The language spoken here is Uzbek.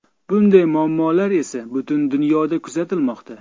Bunday muammolar esa butun dunyoda kuzatilmoqda.